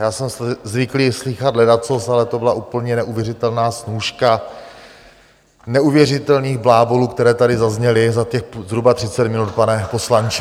Já jsem zvyklý slýchat ledacos, ale to byla úplně neuvěřitelná snůška neuvěřitelných blábolů, které tady zazněly za těch zhruba 30 minut, pane poslanče.